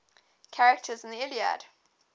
characters in the iliad